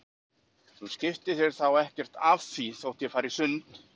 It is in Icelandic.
Þú skiptir þér þá ekkert af því þótt ég fari í sund?